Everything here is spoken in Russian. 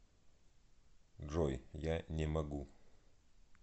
джой я не могу